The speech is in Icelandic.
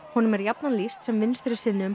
honum er jafnan lýst sem